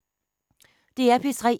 DR P3